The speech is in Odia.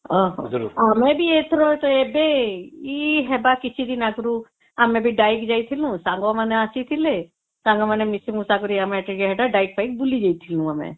ଓ ହଁ ଆମେ ବି ଏଇଥର ଏବେ ଏଇ ହେବ କିଛି ଦିନ ଆଗରୁ ଆମେ ଡ଼ାଈ ଯାଇଥିଲୁ ସାଙ୍ଗ ମାନେ ଆସିଥିଲେ ସାଙ୍ଗ ମାନେ ମିଶି ମୂଷା କରି ଆମେ ଡ଼ାଈ ଫାଇ ବୁଲି ଯାଇଥିଲୁ ଆମେ